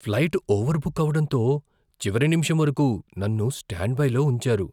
Flight overbook అవ్వడంతో చివరి నిమిషం వరకు నన్ను స్టాండ్బైలో ఉంచారు.